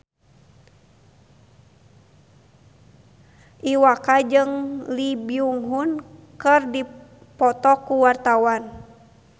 Iwa K jeung Lee Byung Hun keur dipoto ku wartawan